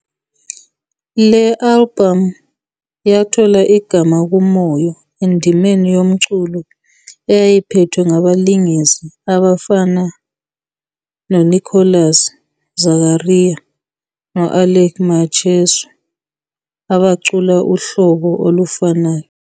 Le albhamu yathola igama kuMoyo endimeni yomculo, eyayiphethwe ngabalingisi abafana noNicholas Zakaria no-Alick Macheso abacula uhlobo olufanayo.